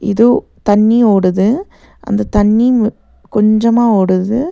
து தண்ணி ஓடுது அந்த தண்ணி மு கொஞ்சமா ஓடுது.